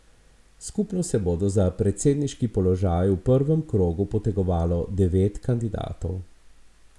Skupno se bo za predsedniški položaj v prvem krogu potegovalo devet kandidatov.